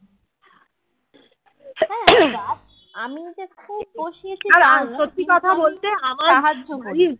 আমিই যে খুব বসিয়েছি